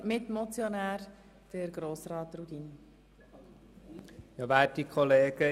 Der Mitmotionär Grossrat Rudin hat das Wort.